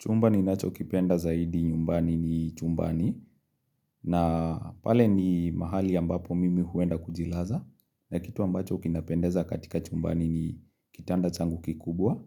Chumba ni nacho kipenda zaidi nyumbani ni chumbani, na pale ni mahali ambapo mimi huenda kujilaza, na kitu ambacho kinapendeza katika chumbani ni kitanda changu kikubwa,